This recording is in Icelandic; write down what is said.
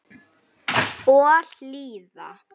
Og hlýða.